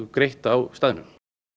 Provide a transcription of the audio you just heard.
greitt á staðnum